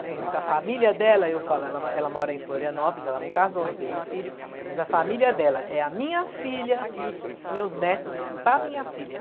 Tem um que a família dela, eu falo, ela ela mora em Florianópolis, ela não casou, não teve filho, mas a família dela é a minha filha e os meus netos da minha filha.